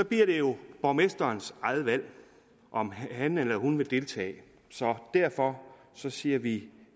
bliver det jo borgmesterens eget valg om han eller hun vil deltage så derfor siger vi